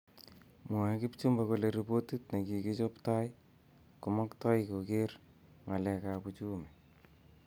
Mwoe Kipchumba kole ripotit ne kikichob tai komaktoi koker ngalek ab uchumi